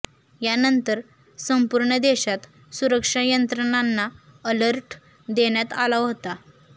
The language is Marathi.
यानंतर संपूर्ण देशात सुरक्षा यंत्रणांना अलर्ट देण्यात आला होता